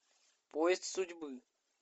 поезд судьбы